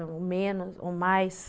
menos, ou mais.